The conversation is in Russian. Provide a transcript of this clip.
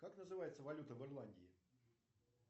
как называется валюта в ирландии